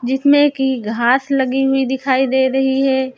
जिसमें की घास लगी हुई दिखाई दे रही है।